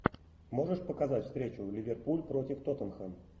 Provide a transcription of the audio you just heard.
можешь показать встречу ливерпуль против тоттенхэм